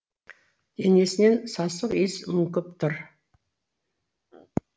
денесінен сасық иіс мүңкіп тұр